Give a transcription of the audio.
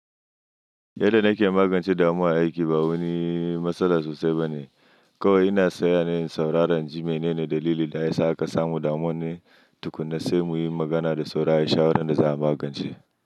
Yadda nake magance damuwa a aiki ba wani matsala sosai ba ne. Kawai ina tsayawa ne in saurara inji mene ne dalili da yasa aka samu damuwar ne, tukunna sai muyi magana da saura shawarar da za a magance.